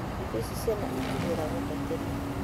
Thikũ ici ciana itihũragwo ta tene